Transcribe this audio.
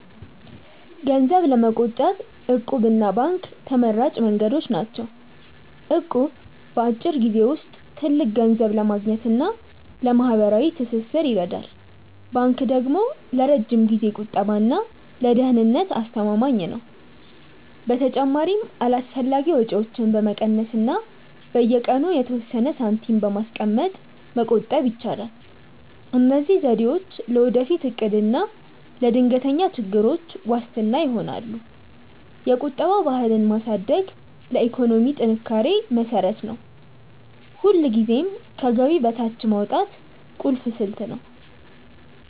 ገንዘብ ለመቆጠብ 'እቁብ' እና ባንክ ተመራጭ መንገዶች ናቸው። እቁብ በአጭር ጊዜ ውስጥ ትልቅ ገንዘብ ለማግኘት እና ለማህበራዊ ትስስር ይረዳል። ባንክ ደግሞ ለረጅም ጊዜ ቁጠባ እና ለደህንነት አስተማማኝ ነው። በተጨማሪም አላስፈላጊ ወጪዎችን በመቀነስ እና በየቀኑ የተወሰነ ሳንቲም በማስቀመጥ መቆጠብ ይቻላል። እነዚህ ዘዴዎች ለወደፊት እቅድ እና ለድንገተኛ ችግሮች ዋስትና ይሆናሉ። የቁጠባ ባህልን ማሳደግ ለኢኮኖሚ ጥንካሬ መሰረት ነው። ሁልጊዜም ከገቢ በታች ማውጣት ቁልፍ ስልት ነው።